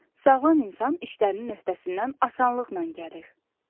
Sağlam insan işlərinin öhdəsindən asanlıqla gəlir.